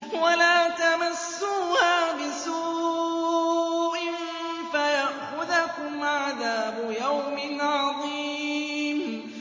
وَلَا تَمَسُّوهَا بِسُوءٍ فَيَأْخُذَكُمْ عَذَابُ يَوْمٍ عَظِيمٍ